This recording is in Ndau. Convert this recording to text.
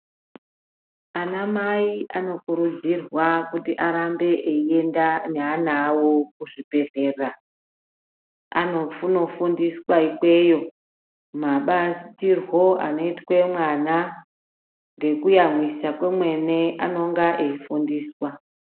Ana mai anokurudzirwa kuti arambe einda neana awo kuzvibhedhlera anonofundiswa ikweyo mabatirwo anoitwe mwana ngekuyamwisa kwemene anonga veifundiswa.